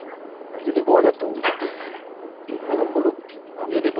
যদি বলে তো এখন বলুক তারপর